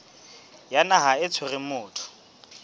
ya naha e tshwereng motho